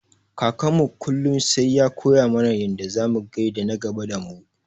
Kakanmu kullum sai ya koya mana yanda zamu gaida na gaba damu.